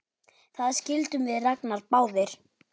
Það skildum við Ragnar báðir!